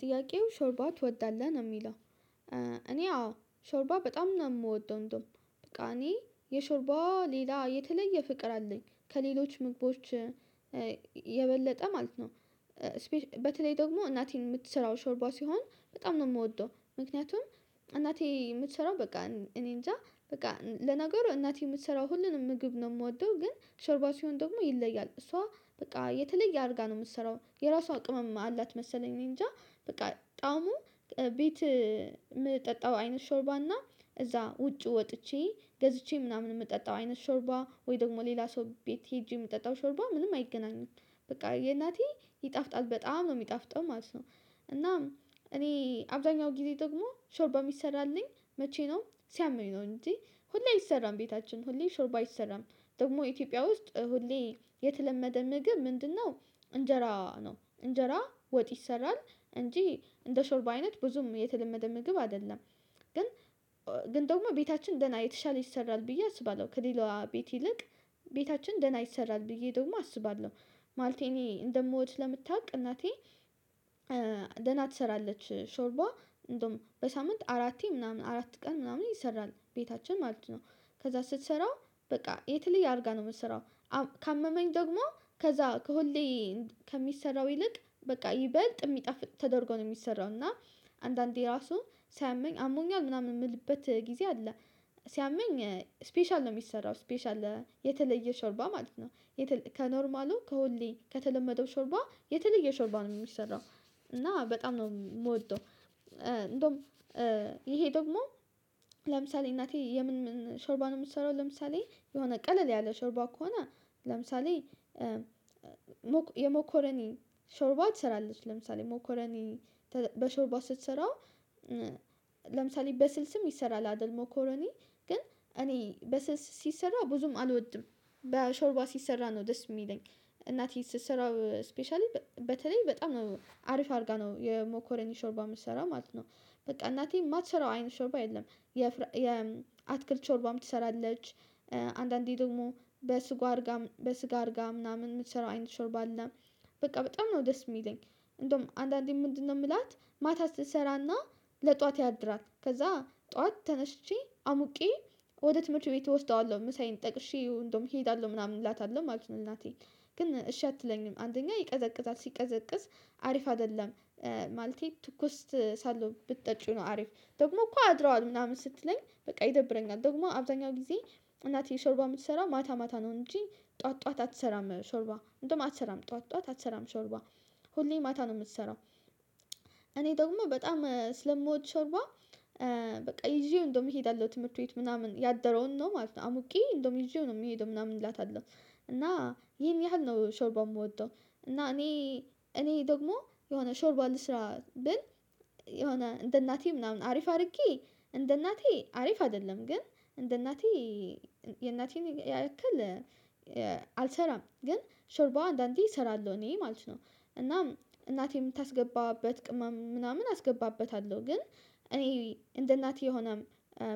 ጥያቄው ሾርባ ትወዳለህ ነው የሚለው? እኔ አዎ ሾርባ በጣም ነው የምወደው እንደውም በቃ እኔ የሾርባ ሌላ የተለየ ፍቅር አለኝ ከሌሎች ምግቦች የበለጠ ማለት ነው። በተለይ ደግሞ እናቴን የምትሰራው ሾርባ ሲሆን በጣም ነው የምወደው። ምክንያቱም እናቴ የምትሰራው በቃ እኔንጃ በቃ ለነገሩ እናቴ የምትሰራው ሁሉንም ምግብ ነው የምወደው ግን ሾርባ ሲሆን ደግሞ ይለያል። እሷ በቃ የተለየ አድርጋ ነው የምትሰራው የራሷ ቅመም አላት። መሰለኝ እኔንጃ በቃ ጣዕሙ ቤት የምጠጣው አይነት ሾርባና እዛ ውጪ ወጥቼ ገዝቼ ምናምን የምጠጣው አይነት ሾርባ ወይ ደግሞ ሌላ ሰው ቤት ሄጄ የምጠጣው ሾርቧ ምንም አይገናኙም። በቃ የእናቴ ይጣፍጣል በጣም ነው የሚጣፍጠው ማለት ነው። እናም እኔ አብዛኛው ጊዜ ደግሞ ሾርባ የሚሰራልኝ መቼ ነው ሲያመኝ ነው እንጂ ሁሌ አይሰራም። ቤታችን ሁሌ ሾርባ አይሰራም ደግሞ ኢትዮጵያ ውስጥ ሁሌ የተለመደ ምግብ ምንድነው? እንጀራ ነው እንጀራ ወጥ ይሰራል እንጂ እንደ ሾርብ አይነት ብዙም የተለመደ ምግብ አይደለም። ግን ግን ደግሞ ቤታችን ደህና የተሻለ ይሰራል ብዬ አስባለሁ ከሌላዋ ቤት ይልቅ ቤታችን ደህና ይሰራል ብዬ ደግሞ አስባለሁ። ማለቴ እኔ እንደምወድ ሰለምታውቅ እናቴ ደህና ትሰራለች ሾርባ እንደውም በሳምንት አራቴ ምናምን አራት ቀን ምናምን ይሰራል ቤታችን ማለት ነው። ከዛ ስትሰራው በቃ የተለየ አድርጋ ነው የምትሰራው ካመመኝ ደግሞ ከዛ ከሁሌ ከሚሰራው ይልቅ በቃ ይበልጥ የሚጣፍጥ ተደርጎ ነው የሚሰራው። እና አንዳንዴ ራሱ ሳያመኝ አሞኛል ምናምን የምልበት ጊዜ አለ። ሲያመኝ ስፔሻል ነው የሚሰራው ስፔሻል የተለየ ሾርባ ማለት ነው። ከኖርማሉ ከሁሌ ከተለመደው ሾርባ የተለየ ሾርባ ነው የሚሰራው እና በጣም ነው የምወደው። እንደውም ይሄ ደግሞ ለምሳሌ እናቴ የምን ሾርባ ነው የምትሰራው ለምሳሌ የሆነ ቀለል ያለ ሾርባ ከሆነ ለምሳሌ የሞኮረኒ ሾርባ ትሰራለች ለምሳሌ ሞኮረኒ በሾርባ ስትሰራ ለምሳሌ በስልስም ይሰራል አደል ሞኮሮኒ ግን እኔ በስልስ ሲሰራ ብዙም አልወድም። በሾርባ ሲሰራ ነው ደስ የሚለኝ እናቴ ስትሰራ ስፔሻሊ በተለይ በጣም ነው አሪፍ አድርጋ ነው የሞኮረኒ ሾርባ የምትሰራው ማለት ነው። በቃ እናቴ የማትሰራው አይነት ሾርባ የለም። የአትክልት ቾርባም ትሰራለች አንዳንዴ ደግሞ በስጎ አድርጋ በስጋ አድርጋ ምናምን የምትሰራው አይነት ሾርብ አለ በቃ በጣም ነው ደስ የሚለኝ። እንደውም አንዳንዴ ምንድነው ምላት ማታ ስትሰራና ለጧት ያድራል ከዛ ጧት ተነስቼ አሙቄ ወደ ትምህርት ቤት እወስደዋለሁ ምሳዬን ጠቅሼ እንደውም እሄዳለሁ ምናምን እላታለሁ ማለት እናቴ ግን እሺ አትለኝም አንደኛ ይቀዘቅዛል ሲቀዘቅዝ አሪፍ አይደለም። ማለቴ ትኩስት ሳለው ብትጠጪው ነው አሪፍ ደግሞ እኮ አድረዋል ምናምን ስትለኝ በቃ ይደብረኛል ደግሞ አብዛኛው ጊዜ እናቴ ሾርባ የምትሰራው ማታ ማታ ነው እንጂ ጠዋት ጠዋት አትሰራም ሾርባ እንደውም አትሰራም ጠዋት ጠዋት አትሰራም ሾርባ ሁሌ ማታ ነው የምትሰራው። እኔ ደግሞ በጣም ስለምወድ ሾርቧ በቃ ይዤው እንደውም እሄዳለሁ ትምህርት ቤት ምናምን ያደረውን ነው ማለት ነው አሙቂ እንደውም ይዤው ነው የምሄደው ምናምን እላታለሁ እና ይሄን ያህል ነው ሾርባ የምወደው። እና እኔ እኔ ደግሞ የሆነ ሾርባ ልስራ ብል የሆነ እንደ እናቴ ምናምን አሪፍ አድርጌ እንደ እናቴ አሪፍ አይደለም ግን እንደ እናቴ የእናቴን ያክል አልሰራም። ግን ሾርቧ አንዳንዴ እሰራለሁ እኔ ማለት ነው እና እናቴ የምታስገባበት ቅመም ምናምን አስገባበታለሁ ግን እኔ እንደ እናቴ የሆነ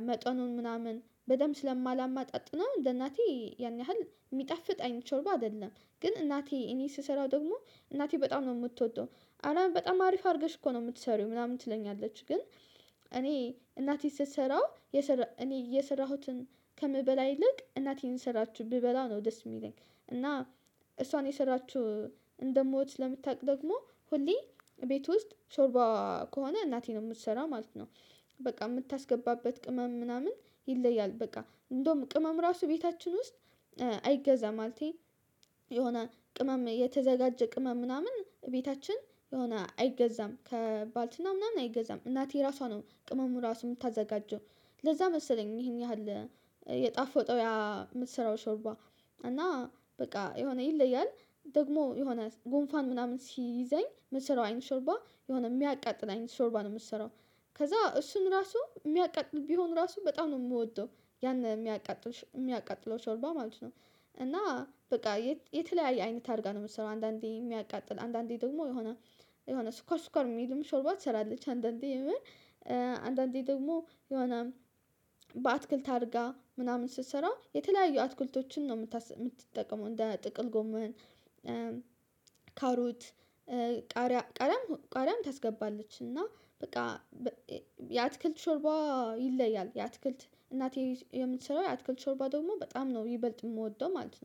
መጠኑን ምናምን በደንብ ስለማላመጣጥነው እንደናቴ ያን ያህል የሚጣፍጥ አይነት ሾርባ አይደለም። ግን እናቴ እኔ ስሰራው ደግሞ እናቴ በጣም ነው የምትወደው አረ በጣም አሪፍ አድርገሽ እኮ ነው የምትሰሪው ምናምን ትለኛለች ግን እኔ እናቴ ስትሰራው እኔ የሰራሁትን ከምበላ ይልቅ እናቴን የስራችውን ብበላ ነው ደስ የሚለኝ እና እሷን የሰራችው እንደማወድ ስለ ምታቅ ደግሞ ሁሌ ቤት ውስጥ ሾርባ ከሆነ እናቴ ነው የምትሰራው ማለት ነው። በቃ የምታስገባበት ቅመም ምናምን ይለያል በቃ እንደውም ቅመም ራሱ ቤታችን ውስጥ አይገዛም ማለቴ የሆነ ቅመም የተዘጋጀ ቅመም ምናምን እቤታችን የሆነ አይገዛም ከባልትና ምናምን አይገዛም እናቴ ራሷ ነው ቅመሙ ራሱ የምታዘጋጀው። ለዛ መሰለኝ ይሄን ያህል የጣፈጠው ያ የምትሰራው ሾርባ እና በቃ የሆነ ይለያል ደግሞ የሆነ ጉንፋን ምናምን ሲይዘኝ ምትሰራው አይነት ሾርባ የሆነ የሚያቃጥል አይነት ሾርባ ነው የምትሰራው። ከዛ እሱን ራሱ የሚያቃጥል ቢሆን ራሱ በጣም ነው የምወደው ያን የሚያቃጥል የሚያቃጥለው ሾርባ ማለት ነው። እና በቃ የተለያየ አይነት አድርጋ ነው የምትሰራው አንዳንዴ የሚያቃጥል አንዳንዴ ደግሞ የሆነ የሆነ ስኳር ስኳር የሚልም ሾርባ ትሰራለች አንዳንዴ የምር አንዳንዴ ደግሞ የሆነ በአትክልት አድርጋ ምናምን ስትሰራ የተለያዩ አትኩልቶችን ነው የምትጠቀመው እንደ ጥቅል ጎመን ካሮት ቃሪያ ቃሪያም ቃሪያም ታስገባለች እና በቃ የአትክልት ሾርባ ይለያል የአትክልት እናቴ የምትሰራው የአትክልት ሾርባ ደግሞ በጣም ነው የሚበልጥ የምወደው። ማለት ነው